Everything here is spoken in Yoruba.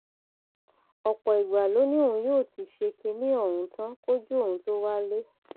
ọpọ ìgbà ló ní òun yóò ti ṣe kinní ọhún tán kójú òun tóó wálé